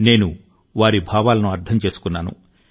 నేను వారి భావాలను అర్థం చేసుకున్నాను